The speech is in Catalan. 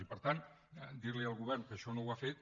i per tant dirli al govern que això no ha fet